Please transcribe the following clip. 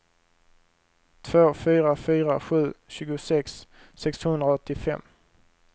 två fyra fyra sju tjugosex sexhundraåttiofem